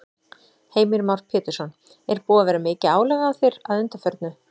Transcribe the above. Heimir Már Pétursson: Er búið að vera mikið álag á þér að undanförnu?